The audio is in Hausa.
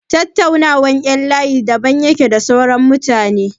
Tattaunawar ƴan layi daban yake da na sauran mutane.